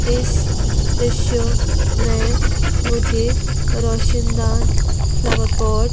इस दृश्य में मुझे रोशनदान फ्लावर पॉट --